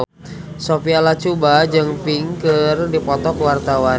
Sophia Latjuba jeung Pink keur dipoto ku wartawan